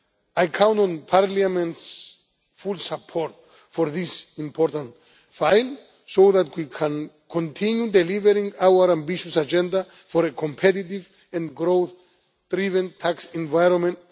I count on Parliament's full support for this important file, so that we can continue delivering our ambitious agenda for a competitive and growth driven tax environment